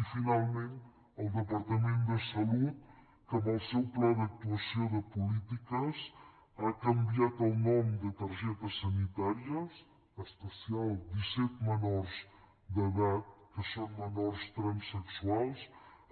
i finalment el departament de salut que amb el seu pla d’actuació de polítiques ha canviat el nom de targetes sanitàries especial disset menors d’edat que són menors transsexuals